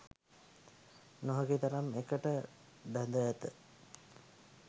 නොහැකි තරම් එකට බැඳ ඇත